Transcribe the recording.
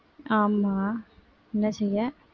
ஆமா என்ன செய்ய